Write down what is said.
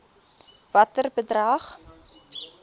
watter bedrag